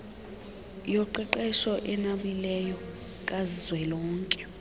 yoqeqesho enabileyo kazwelonke